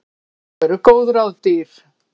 Nú eru góð ráð dýr!